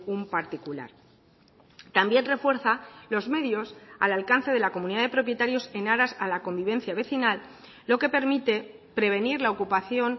un particular también refuerza los medios al alcance de la comunidad de propietarios en aras a la convivencia vecinal lo que permite prevenir la ocupación